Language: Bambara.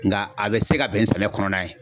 Nga a bɛ se ka bɛn ni samiya kɔnɔna ye.